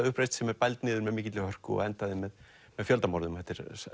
stúdentauppreisn sem er bæld niður með mikilli hörku og endaði með fjöldamorðum